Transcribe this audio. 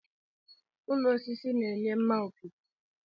Ụlọ osisi na-enye mma okike.